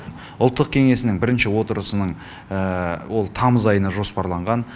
ұлттық кеңесінің бірінші отырысының ол тамыз айына жоспарланған